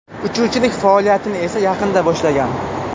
Uchuvchilik faoliyatini esa yaqinda boshlagan.